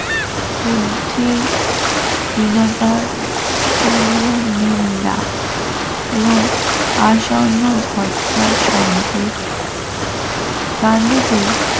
বুদ্ধি হীনতার তীব্র নিন্দা এবং আসন্ন ঝটকার সঙ্গে